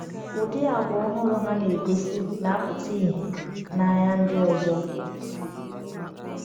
Ụdị àgwà ọhụrụ ha na-egosi na-apụta ìhè n’anya ndị ọzọ.